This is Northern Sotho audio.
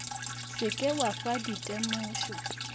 se ke wa fa ditemošo